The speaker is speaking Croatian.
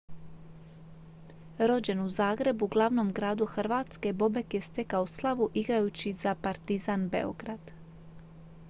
rođen u zagrebu glavnom gradu hrvatske bobek je stekao slavu igrajući za partizan beograd